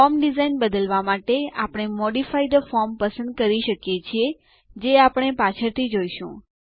form design બદલવા માટે આપણે મોડિફાય થે ફોર્મ પસંદ કરી શકીએ છીએ જે આપણે પાછળથી જોઈશું